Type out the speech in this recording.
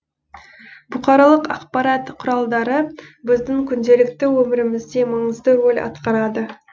бұқаралық ақпарат құралдары біздің күнделікті өмірімізде маңызды рөл атқарады